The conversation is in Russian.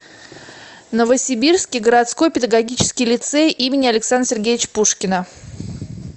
новосибирский городской педагогический лицей им ас пушкина